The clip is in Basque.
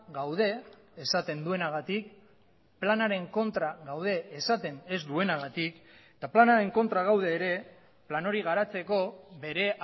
gaude esaten duenagatik planaren kontra gaude esaten ez duenagatik eta planaren kontra gaude ere plan hori garatzeko bere